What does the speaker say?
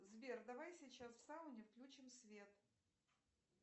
сбер давай сейчас в сауне включим свет